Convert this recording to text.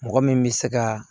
Mɔgɔ min bɛ se ka